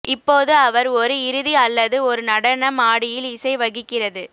இப்போது அவர் ஒரு இறுதி அல்லது ஒரு நடன மாடியில் இசை வகிக்கிறது